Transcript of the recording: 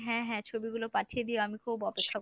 হ্যাঁ হ্যাঁ ছবিগুলো পাঠিয়ে আমাকেও